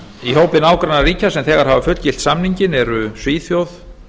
í hópi nágrannaríkja sem þegar hafa fullgilt samninginn eru svíþjóð